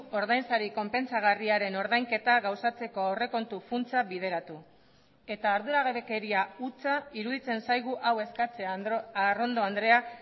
ordainsari konpentsagarriaren ordainketa gauzatzeko aurrekontu funtsa bideratu eta arduragabekeria hutsa iruditzen zaigu hau eskatzea arrondo andrea